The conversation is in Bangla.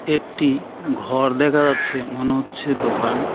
একটি ঘর দেখা যাচ্ছে মনে হচ্ছে দোকান .